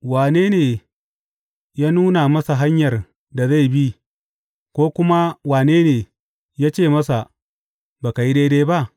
Wane ne ya nuna masa hanyar da zai bi, ko kuma wane ne ya ce masa, Ba ka yi daidai ba?’